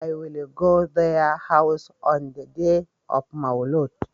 I will go their house on the day of maulud